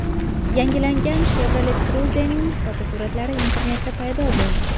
Yangilangan Chevrolet Cruze’ning fotosuratlari internetda paydo bo‘ldi.